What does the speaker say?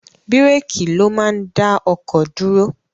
Bíréékì ló máa ń dá ọkọ̀ dúró.